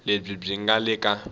lebyi byi nga le ka